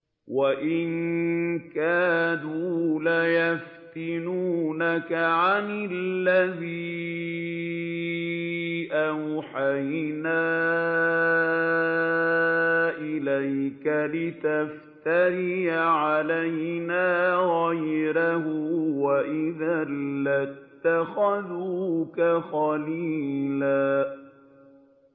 وَإِن كَادُوا لَيَفْتِنُونَكَ عَنِ الَّذِي أَوْحَيْنَا إِلَيْكَ لِتَفْتَرِيَ عَلَيْنَا غَيْرَهُ ۖ وَإِذًا لَّاتَّخَذُوكَ خَلِيلًا